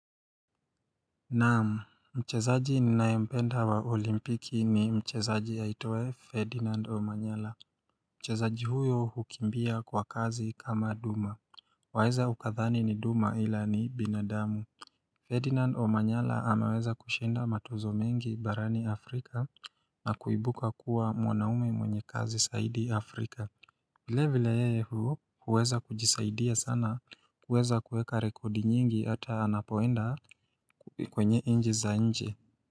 Naam, mchezaji ninayempenda wa olimpiki ni mchezaji aitwaye Ferdinand Omanyala Mchezaji huyu hukimbia kwa kazi kama duma Waeza ukadhani ni duma ila ni binadamu Ferdinand Omanyala ameweza kushinda matuzo mengi barani Afrika na kuibuka kuwa mwanaume mwenye kazi saidi Afrika vile vile yeye hu huweza kujisaidia sana kuweza kueka rekodi nyingi hata anapoenda kwenye nje za nje.